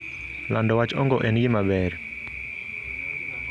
Lando wach ong'o en gima ber.